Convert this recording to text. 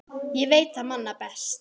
Ég veit það manna best.